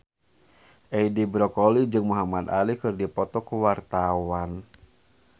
Edi Brokoli jeung Muhamad Ali keur dipoto ku wartawan